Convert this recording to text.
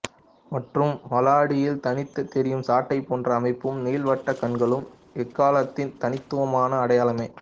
மற்றும் வாலடியில் தனித்து தெரியும் சாட்டை போன்ற அமைப்பும் நீள்வட்ட கண்களும் எக்காளத்தின் தனித்துவமான அடையாளம